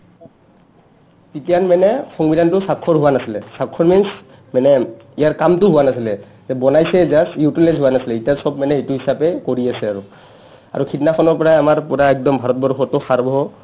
তিতানমানে সংবিধানটো স্ৱাক্ষৰ হোৱা নাছিলে স্ৱাক্ষৰ means মানে ইয়াৰ কামটো হোৱা নাছিলে বনাইছে just utilize হোৱা নাছিলে ইটা চব মানে ইটো হিচাপে কৰি আছে আৰু আৰু সিদনাখনৰ পৰাইয়ে আমাৰ পোৰা একদম ভাৰতবৰ্ষটৌ সাৰ্ব